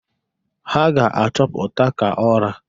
Ha ga-achọpụta ka ọra.